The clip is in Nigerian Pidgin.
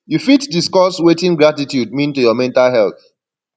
you fit discuss wetin gratitude mean to your mental health